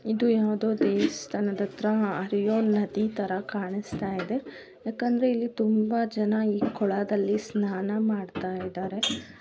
ಇದು ಯಾವದೋ ದೇವಸ್ಥಾನ ಹತ್ರ ಹರಿಯೋ ನದಿ ತರ ಕಾಣಿಸ್ತಾಯಿದೆ ಯಾಕಂದ್ರೆ ಇಲ್ಲಿ ತುಂಬಾ ಜನ ಈ ಕೊಳದಲ್ಲಿ ಸ್ನಾನ ಮಾಡ್ತಾ ಇದ್ದಾರೆ.